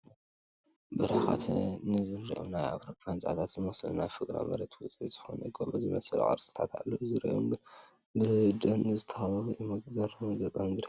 ብርሕቐት ንዝርአዮም ናይ ኣውሮፓ ህንፃታት ዝመስሉ ናይ ፍግረ መሬት ውፅኢት ዝኾኑ ጎቦ ዝመሰል ቅርፅታት ይርአዩ ኣለዉ፡፡ ዙሪኦም ብደን ዝተኸበቡ እዮም፡፡ መግረሚ ገፀ ምድሪ፡፡